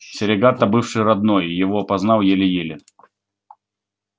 серегато бывший родной его опознал еле-еле